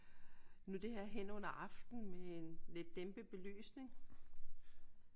Nu er det her hen under aftenen med en lidt dæmpet belysning